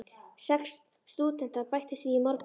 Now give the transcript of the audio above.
Sex stúdentar bættust við í morgun.